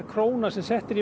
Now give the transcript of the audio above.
króna sem sett er í